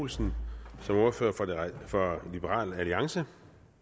olsen som ordfører for liberal alliance